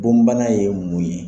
Bonbana ye mun ye?